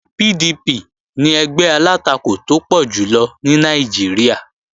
PDP ni ẹgbẹ́ alátakò tó pọ̀ jùlọ ní Nàìjíríà